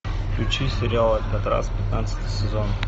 включи сериал алькатрас пятнадцатый сезон